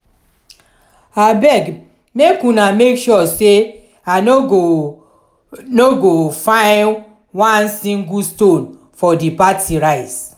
abeg make una make sure say i no go no go find one single stone for the party rice